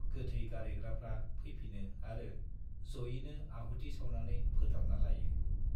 गोथै गारहैग्राफ्रा फैफिनो आरो जयैनो आहुति सावनानै फोथारना लायो।